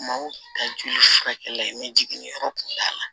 Maaw ta jugu ye furakɛli ye ne jiginni yɔrɔ kun t'a la